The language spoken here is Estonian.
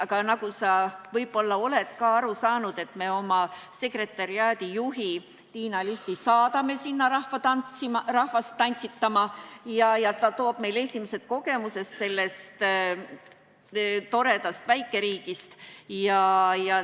Aga nagu sa võib-olla oled ka aru saanud, me oma sekretariaadi juhi Tiina Lichti saadame sinna rahvast tantsitama, ta toob meile esimesed kogemused sellest toredast väikeriigist.